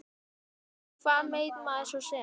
Hvað veit maður svo sem.